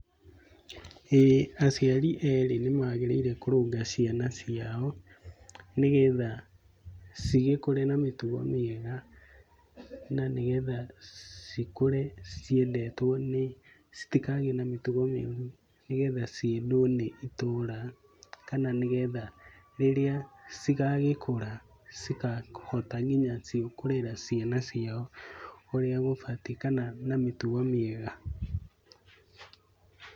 Ĩĩ aciarĩ erĩ nĩ magĩrĩire kũrũnga ciana ciao, nĩgetha, cigĩkũre na mĩtugo mĩega, na nĩgetha cikũre ciendetwo nĩ, citikagĩe na mĩtugo mĩũru, nĩgetha ciendũo nĩ itũra kana nĩgetha rĩrĩa cigagĩkũra cigahota onacio kũrera ciana ciao ũrĩa gũbatiĩ kana na mĩtugo mĩega.